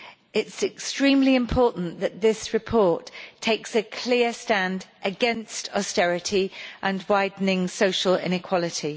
It is extremely important that the report takes a clear stand against austerity and widening social inequality.